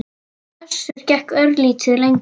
Össur gekk örlítið lengra.